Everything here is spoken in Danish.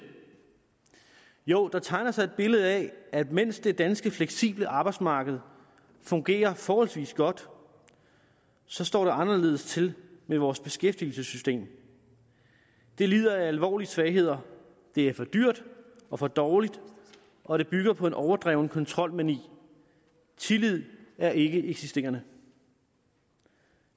jo der tegner sig et billede af at mens det danske fleksible arbejdsmarked fungerer forholdsvis godt så står det anderledes til med vores beskæftigelsessystem det lider af alvorlige svagheder det er for dyrt og for dårligt og det bygger på en overdreven kontrolmani tillid er ikkeeksisterende